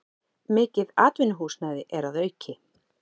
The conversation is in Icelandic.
Mikið atvinnuhúsnæði er að auki